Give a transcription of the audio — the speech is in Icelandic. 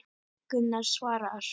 Gunnar svarar.